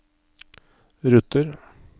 ruter